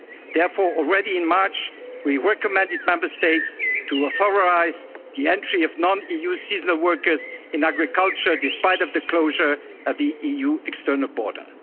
essential function. Therefore, already in March, we recommended Member States to authorise the entry of non-EU seasonal workers in agriculture, despite the closure of the